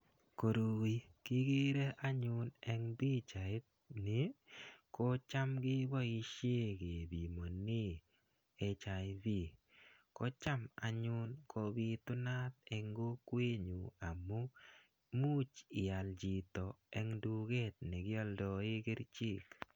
Koroi kikere anyun eng' pichait ni ko cham keboishe kepimone hiv ko cham anyun kobitunat eng' kokwenyu amu muuch ial chito eng' duket nekioldoe kerichek